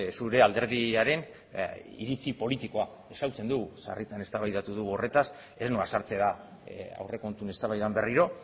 zure alderdiaren iritzi politikoa ezagutzen dugu sarritan eztabaidatu dugu horretaz ez noa sartzera aurrekontuen eztabaidan berriro